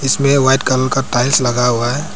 इसमें white colour का tiles लगा हुआ है।